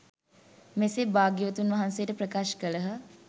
මෙසේ භාග්‍යවතුන් වහන්සේට ප්‍රකාශ කළහ.